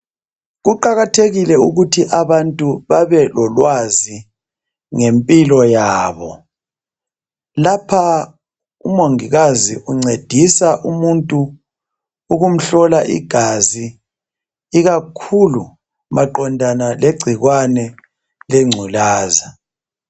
Kuqakathekile ukuthi abantu babelolwazi ngempilo yabo, lapha umongikazi uncedisa umuntu ukumhlola igazi ikakhulu maqondana legciwane lengculaza.